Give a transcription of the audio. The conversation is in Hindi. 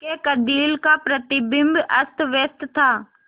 उसके कंदील का प्रतिबिंब अस्तव्यस्त था